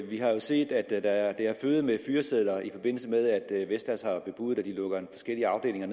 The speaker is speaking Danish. vi har jo set at det har føget med fyresedler i forbindelse med at vestas har bebudet at de lukker forskellige afdelinger